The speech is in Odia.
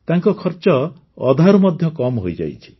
ତାଙ୍କ ଖର୍ଚ୍ଚ ଅଧାରୁ ମଧ୍ୟ କମ୍ ହୋଇଯାଇଛି